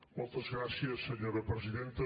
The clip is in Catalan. moltes gràcies senyora presidenta